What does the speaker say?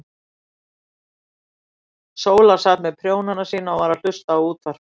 Sóla sat með prjónana sína og var að hlusta á útvarpið.